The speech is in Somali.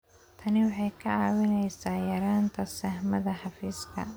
Tani waxay kaa caawinaysaa yaraynta saxmadda xafiiska.